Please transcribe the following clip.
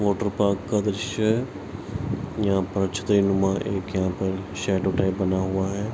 Water park का दृश्य है। यहाँ पर छतरीनुमा एक यहाँ पर शैडो टाइप बना हुआ है।